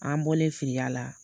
An bɔlen filiya la